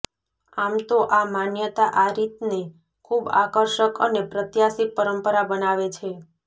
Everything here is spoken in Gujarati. આમ તો આ માન્યતા આ રીતને ખૂબ આકર્ષક અને પ્રત્યાશિપ પરંપરા બનાવે છે